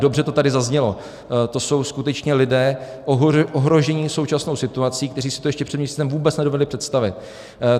Dobře to tady zaznělo, to jsou skutečně lidé ohrožení současnou situací, kteří si to ještě před měsícem vůbec nedovedli představit.